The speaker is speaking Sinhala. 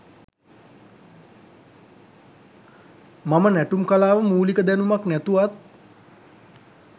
මම නැටුම් කලාව මුලික දැනුමක් නැතුවත්